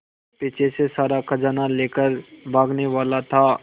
पीछे से सारा खजाना लेकर भागने वाला था